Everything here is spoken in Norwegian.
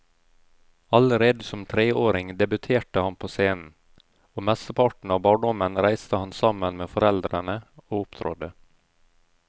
Allerede som treåring debuterte han på scenen, og mesteparten av barndommen reiste han sammen med foreldrene og opptrådte.